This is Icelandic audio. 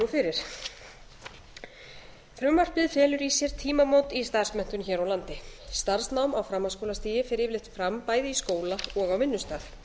fyrir frumvarpið felur í sér tímamót í starfsmenntun hér á landi starfsnám á framhaldsskólastigi fer yfirleitt bæði fram bæði í skóla og á vinnustað